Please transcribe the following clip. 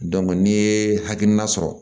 n'i ye hakilina sɔrɔ